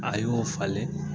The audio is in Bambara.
A y'o falen